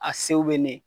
A sew bɛ ne